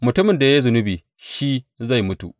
Mutumin da ya yi zunubi shi zai mutu.